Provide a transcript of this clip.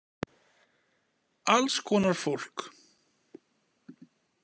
Alls konar fólk.